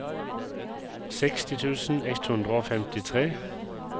seksti tusen ett hundre og femtitre